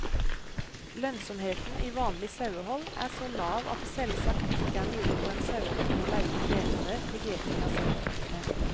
Lønnsomheten i vanlig sauehold er så lav at det selvsagt ikke er mulig for en sauebonde å leie inn gjetere for gjeting av saueflokkene.